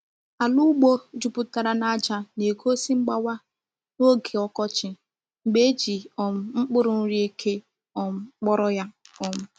Ala ugbo juputara na aja na-egosi mgbawa n’oge ọkọchị mgbe e ji um mkpụrụ nri eke um kpọrọ ya. um